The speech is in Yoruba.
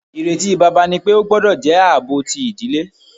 Ireti baba ni pe o gbọdọ jẹ aabo ti idile.